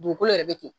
Dugukolo yɛrɛ bɛ ten